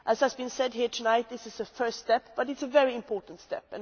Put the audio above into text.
As has been said here tonight, this is a first step, but it is a very important step.